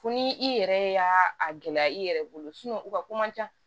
Fo ni i yɛrɛ y'a gɛlɛya i yɛrɛ bolo u ka ko man ca